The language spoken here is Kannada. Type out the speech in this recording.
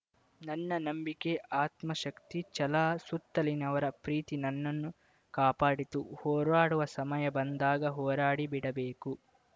ನನ್ನ ನಂಬಿಕೆ ಆತ್ಮಶಕ್ತಿ ಛಲ ಸುತ್ತಲಿನವರ ಪ್ರೀತಿ ನನ್ನನ್ನು ಕಾಪಾಡಿತು ಹೋರಾಡುವ ಸಮಯ ಬಂದಾಗ ಹೋರಾಡಿಬಿಡಬೇಕು